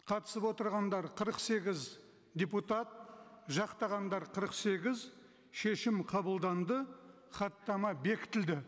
қатысып отырғандар қырық сегіз депутат жақтағандар қырық сегіз шешім қабылданды хаттама бекітілді